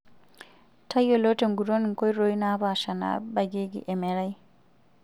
Tayiolo tenguton nkoitoi napasha naabakieki emerai.